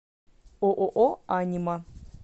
ооо анима